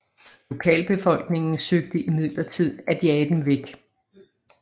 Lokalbefolkningen søgte imidlertid at jage dem væk